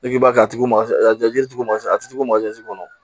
K'i b'a kɛ a tigi ma jiri tigi ma a tɛ k'o kɔnɔ